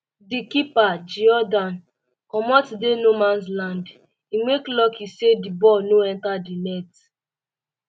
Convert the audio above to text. di keeper geordan comot dey no mans land im make lucky um say di ball um no enta di net